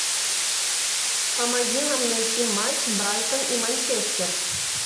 помоги нам найти матч брайтон и манчестер